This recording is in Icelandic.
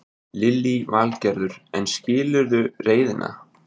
Lillý Valgerður: En skilurðu reiðina?